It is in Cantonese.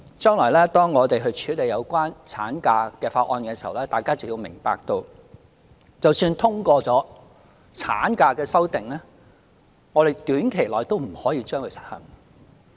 將來當我們處理有關產假的法案時，大家便會明白到，即使通過了產假的修訂，我們短期內也不可以實行。